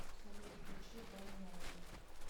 салют включи беньямин